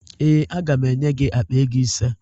Ee, aga m enye gị akpa ego ise